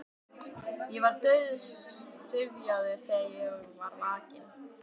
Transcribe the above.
Ég var dauðsyfjaður þegar ég var vakinn.